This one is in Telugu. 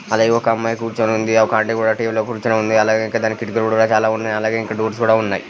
అలాగే ఒక అమ్మాయి కుర్చుని ఉంది.ఒక ఆంటీ కూడా కుర్చుని ఉంది. అలాగే ఇంకా దానికి కిటికీలు కూడా చాలా ఉన్నాయ్. అలాగే ఇంకా డోర్స్ కూడా ఉన్నాయ్.